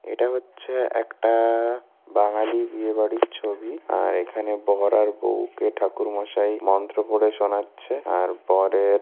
এটা হচ্ছে একটা-আ বাঙালি বিয়ে বাড়ির ছবি আর এখানে বর আর বউকে ঠাকুর মশায় মন্ত্র পড়ে শোনাচ্ছে আর বরের--